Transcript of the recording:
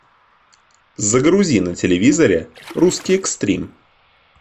загрузи на телевизоре русский экстрим